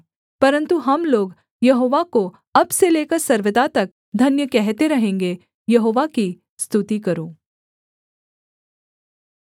परन्तु हम लोग यहोवा को अब से लेकर सर्वदा तक धन्य कहते रहेंगे यहोवा की स्तुति करो